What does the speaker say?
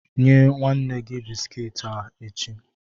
Nye nwanne gi bisikiiti a echi.